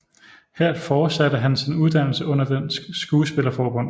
Her fortsatte han sin uddannelse under Dansk Skuespillerforbund